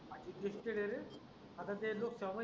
चिस्टी डेरे आता ते लोक समजली.